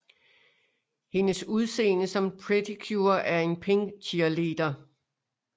Hendes udseende som Pretty Cure er en pink cheerleader